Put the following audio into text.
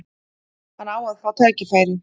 Hann á að fá tækifæri.